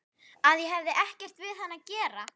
Að ég hefði ekkert við hann að gera.